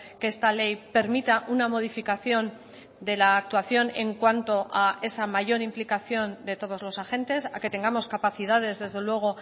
que esta ley permita una modificación de la actuación en cuanto a esa mayor implicación de todos los agentes a que tengamos capacidades desde luego